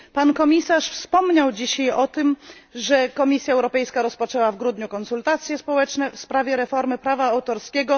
Pan Komisarz wspomniał dzisiaj o tym, że Komisja Europejska rozpoczęła w grudniu konsultacje społeczne w sprawie reformy prawa autorskiego.